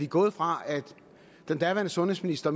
gået fra at den daværende sundhedsminister